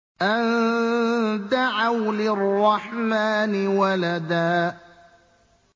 أَن دَعَوْا لِلرَّحْمَٰنِ وَلَدًا